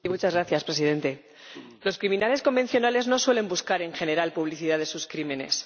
Señor Presidente, los criminales convencionales no suelen buscar en general publicidad de sus crímenes.